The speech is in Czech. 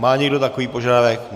Má někdo takový požadavek?